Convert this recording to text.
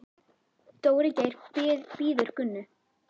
Dóri Geir bíður Gunnu.